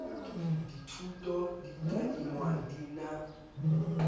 dithuto di tadingwa di na